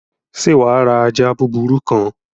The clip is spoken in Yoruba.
Sé wàá ra ajá búburú kan?